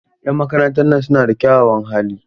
Yan makarantan nan suna da kyawawan hali.